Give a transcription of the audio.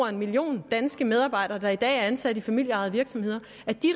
en million danske medarbejdere der i dag er ansat i familieejede virksomheder